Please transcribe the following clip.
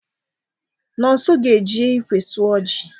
Nonso ga-eji ikwe sụọ ji